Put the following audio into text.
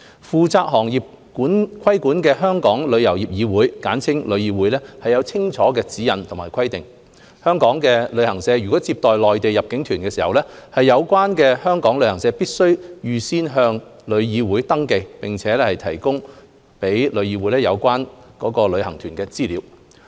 負責行業規管的香港旅遊業議會有清楚指引和規定，香港旅行社如接待內地入境旅行團，有關香港旅行社必須預先向旅議會登記，並提供予旅議會有關該旅行團的資料。